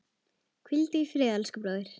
Hvíldu í friði elsku bróðir.